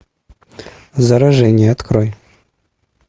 заражение открой